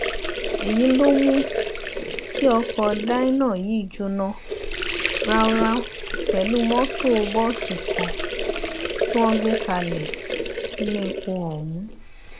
èyí ló mú kí ọkọ dyna yìí jóná ráúráú pẹlú mọtò bọọsì kan tí wọn gbé kalẹ sílépọ ọhún